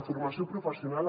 en formació professional